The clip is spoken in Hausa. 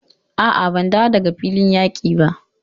A'a, ban dawo daga filin yaƙi ba.